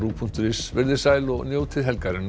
punktur is verið þið sæl og njótið helgarinnar